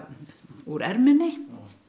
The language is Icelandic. úr erminni